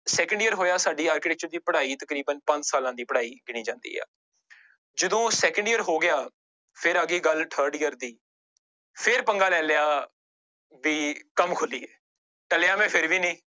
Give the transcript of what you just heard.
Second year ਹੋਇਆ ਸਾਡੀ architecture ਦੀ ਪੜ੍ਹਾਈ ਤਕਰੀਬਨ ਪੰਜ ਸਾਲਾਂ ਦੀ ਪੜ੍ਹਾਈ ਗਿਣੀ ਜਾਂਦੀ ਆ ਜਦੋਂ second year ਹੋ ਗਿਆ ਫਿਰ ਆ ਗਈ ਗੱਲ third year ਦੀ ਫਿਰ ਪੰਗਾ ਲੈ ਲਿਆ ਵੀ ਕੰਮ ਖੋਲੀਏ, ਟਲਿਆ ਮੈਂ ਫਿਰ ਵੀ ਨੀ।